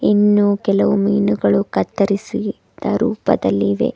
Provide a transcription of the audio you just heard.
ಇನ್ನು ಕೆಲವು ಮೀನುಗಳು ಕತ್ತರಿಸಿದ ರೂಪದಲ್ಲಿ ಇವೆ.